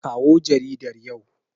Kawo jaridar yau.